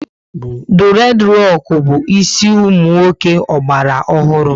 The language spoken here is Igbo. Dured roku bu ịsị umunwoke ogbala ọhụrụ